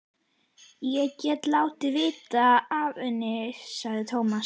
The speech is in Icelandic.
Ég get látið vita af henni, sagði Tómas.